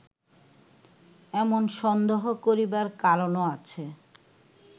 এমন সন্দেহ করিবার কারণও আছে